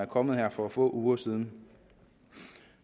kom her for få uger siden